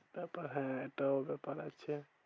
তারপর হ্যাঁ এটাও ব্যাপার আছে।